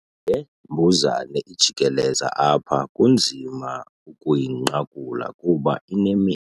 Le mbuzane ijikeleza apha kunzima ukuyinqakula kuba inamendu.